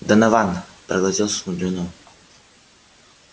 донован проглотил слюну